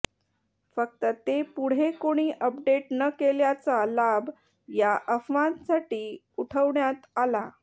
फक्त ते पुढे कोणी अपडेट न केल्याचा लाभ या अफवांसाठी उठवण्यात आला